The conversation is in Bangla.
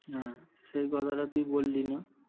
সেই কথা টি তুই বললি নী?